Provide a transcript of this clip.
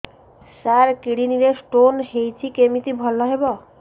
ସାର kidney ରେ stone ହେଇଛି କମିତି ଭଲ ହେବ